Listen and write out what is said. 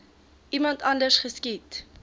iemand anders geskiet